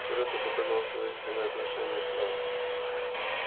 вчера ты показал своё истинное отношение к нам